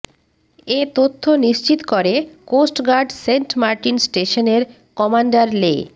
এ তথ্য নিশ্চিত করে কোস্টগার্ড সেন্টমার্টিন স্টেশনের কমান্ডার লে